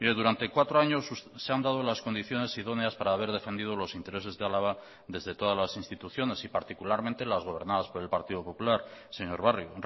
durante cuatro años se han dado las condiciones idóneas para haber defendido los intereses de álava desde todas las instituciones y particularmente las gobernadas por el partido popular señor barrio